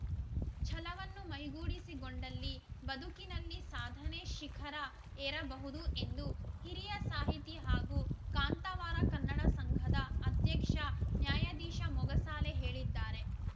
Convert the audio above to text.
ಛಲವನ್ನು ಮೈಗೂಡಿಸಿಗೊಂಡಲ್ಲಿ ಬದುಕಿನಲ್ಲಿ ಸಾಧನೆ ಶಿಖರ ಏರಬಹುದು ಎಂದು ಹಿರಿಯ ಸಾಹಿತಿ ಹಾಗೂ ಕಾಂತಾವರ ಕನ್ನಡ ಸಂಘದ ಅಧ್ಯಕ್ಷ ನ್ಯಾಯಾಧೀಶ ಮೊಗಸಾಲೆ ಹೇಳಿದ್ದಾರೆ